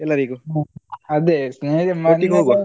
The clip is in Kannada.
ಒಟ್ಟಿಗೆ ಹೋಗುವಾ.